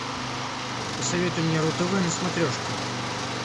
посоветуй мне ру тв на смотрешке